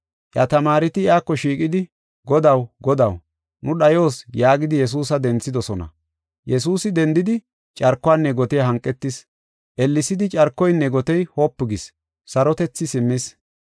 Iya tamaareti iyako shiiqidi, “Godaw! Godaw! nu dhayos” yaagidi Yesuusa denthidosona. Yesuusi dendidi carkuwanne gotiya hanqis. Ellesidi carkoynne gotey wopu gis; sarotethi simmis.